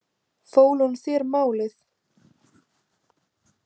Fól hún þér málið?